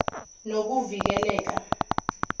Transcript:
nokuvikeleka